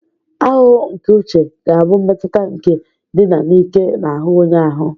Ahụhụ nke uche ga-abụ mmetụta nke ndina n'ike n'ahụ onye ahụ